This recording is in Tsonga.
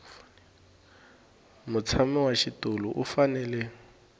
mutshami wa xitulu u fanele